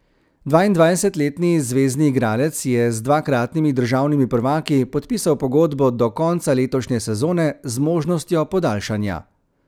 Dvaindvajsetletni zvezni igralec je z dvakratnimi državnimi prvaki podpisal pogodbo do konca letošnje sezone z možnostjo podaljšanja.